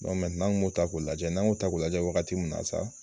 an tun b'o ta ko lajɛ, n'an yo ta ko lajɛ waagati min na sa.